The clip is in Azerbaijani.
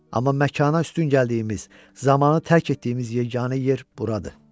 Amma məkana üstün gəldiyimiz, zamanı tərk etdiyimiz yeganə yer buradır.